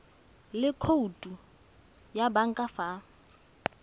le khoutu ya banka fa